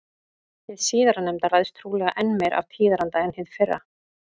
Hið síðarnefnda ræðst trúlega enn meira af tíðaranda en hið fyrra.